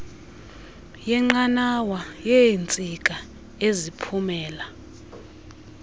yenqanawa yeentsika eziphumela